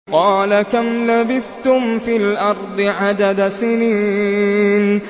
قَالَ كَمْ لَبِثْتُمْ فِي الْأَرْضِ عَدَدَ سِنِينَ